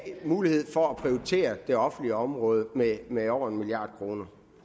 mulighed for at prioritere det offentlige område med med over en milliard kroner